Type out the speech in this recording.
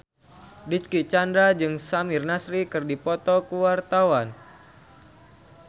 Dicky Chandra jeung Samir Nasri keur dipoto ku wartawan